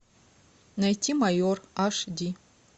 найти майор аш ди